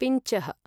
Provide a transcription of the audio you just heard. पिञ्चः